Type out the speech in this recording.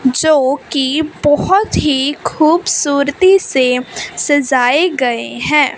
जोकि बहोत ही खूबसूरती से सजाए गए हैं।